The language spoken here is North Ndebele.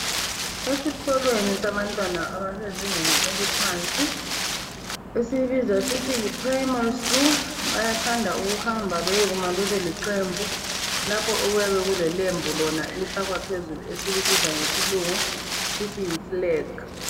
Esikolweni sabantwana abasezingeni eliphansi esiyibiza sithi yi primary school bayathanda ukuhamba beyekuma bebe liqembu lapho okuyabe kulelembu lona esilifakwa phezulu esilibiza ngesilungu sithi yiflag.